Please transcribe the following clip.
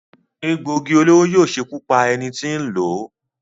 Egbòogi olóró yóò ṣekú pa ẹni tí n lò ó.